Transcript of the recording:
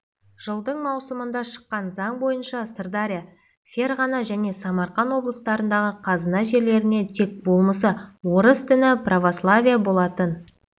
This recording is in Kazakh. жылдың маусымында шыққан заң бойынша сырдария ферғана және самарқан облыстарындағы қазына жерлеріне тек болмысы орыс діні православие болатын